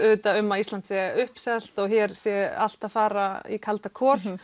um að Ísland sé uppselt og að hér sé allt að fara í kalda kol